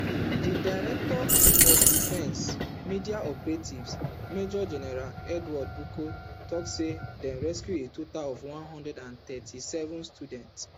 di director of defence media operations major general edward buba tok say dem rescue a total of one hundred and thirty-seven students